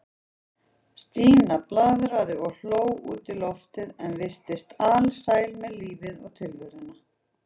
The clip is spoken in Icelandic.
Stína blaðraði og hló út í loftið og virtist alsæl með lífið og tilveruna.